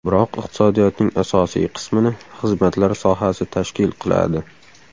Biroq iqtisodiyotning asosiy qismini xizmatlar sohasi tashkil qiladi.